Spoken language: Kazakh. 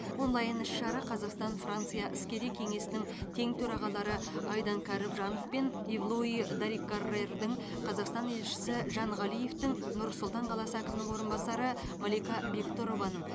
онлайн іс шара қазақстан франция іскери кеңесінің тең төрағалары айдан кәрібжанов пен ив луи даррикаррердің қазақстан елшісі жан ғалиевтің нұр сұлтан қаласы әкімінің орынбасары малика бектұрованың